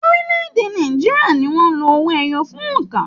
Orílè-èdè Nàìjíríà ní wọn lò owó ẹyọ fún óńka.